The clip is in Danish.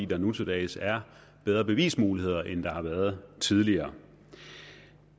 der nu til dags er bedre bevismuligheder end der har været tidligere